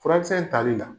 Furakisɛ tali la